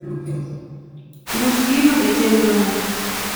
ruch gino e chenro na